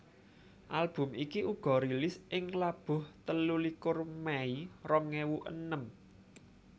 Album iki uga rilis ing labuh telulikur Mei rong ewu enem